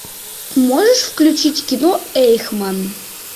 можешь включить кино эйхман